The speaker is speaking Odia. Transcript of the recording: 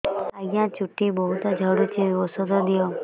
ଆଜ୍ଞା ଚୁଟି ବହୁତ୍ ଝଡୁଚି ଔଷଧ ଦିଅ